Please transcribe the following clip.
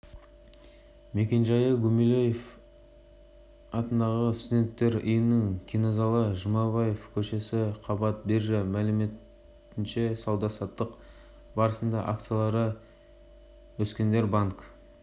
мекенжайы гумилев атындағы студенттер үйінің кинозалы жұмабаев көшесі қабат биржа мәліметінше сауда-саттық барысында акциялары өскендер банк